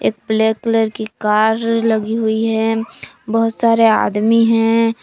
एक black colour की car लगी हुई है बहुत सारे आदमी है।